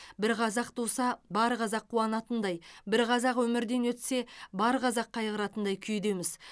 бір қазақ туса бар қазақ қуанатындай бір қазақ өмірден өтсе бар қазақ қайғыратындай күйдеміз